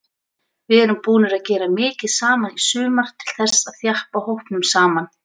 Við erum búnir að gera mikið saman í sumar til þess að þjappa hópnum saman.